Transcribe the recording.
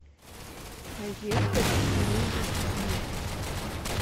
поехали мебель никс